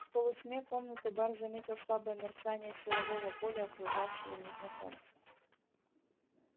в полутьме комнаты бар заметил слабое мерцание силового поля окружавшего незнакомца